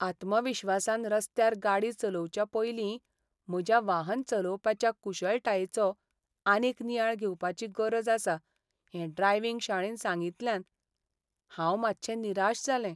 आत्मविश्वासान रस्त्यार गाडी चलोवच्या पयलीं म्हज्या वाहन चलोवपाच्या कुशळटायेचो आनीक नियाळ घेवपाची गरज आसा हें ड्रायविंग शाळेन सांगितल्यान हांव मातशें निराश जालें..